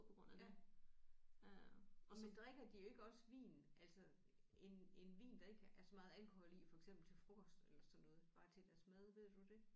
Ja men drikker de ikke også vin altså en en vin der ikke er så meget alkohol i for eksempel til frokost eller sådan noget bare til deres mad ved du det